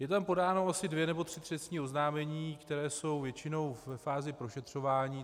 Jsou tam podána asi dvě nebo tři trestní oznámení, která jsou většinou ve fázi prošetřování.